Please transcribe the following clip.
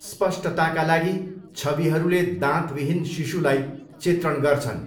स्पष्टताका लागि, छविहरूले दाँतविहीन शिशुलाई चित्रण गर्छन्।